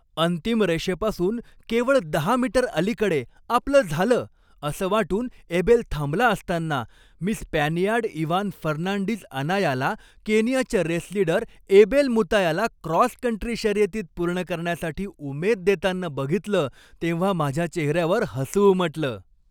अंतिम रेषेपासून केवळ दहा मीटर अलिकडे आपलं झालं असं वाटून एबेल थांबला असताना, मी स्पॅनियार्ड इव्हान फर्नांडीझ अनायाला केनियाच्या रेस लीडर एबेल मुतायाला क्रॉस कंट्री शर्यतीत पूर्ण करण्यासाठी उमेद देताना बघितलं तेव्हा माझ्या चेहऱ्यावर हसू उमटलं.